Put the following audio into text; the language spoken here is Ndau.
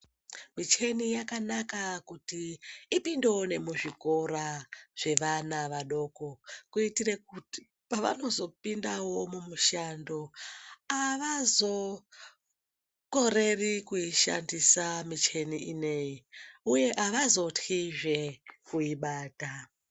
Micheni yakanaka kuti ipindewo nemuzvikora zvevana vadoko kuitire kuti pavanozo pindawo mumishando, avazokoreri kuishandisa micheni ineyi, uye avazotkizve kuibata.